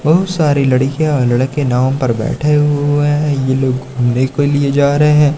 बहुत सारी लड़कियां लड़के नाव पर बैठे हुए हैं ये लोग घूमने के लिए जा रहे हैं।